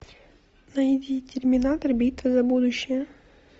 найди терминатор битва за будущее